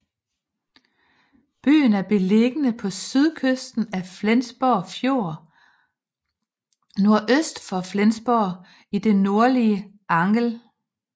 Byen er beliggende på sydkysten af Flensborg Fjord nordøst for Flensborg i det nordlige Angel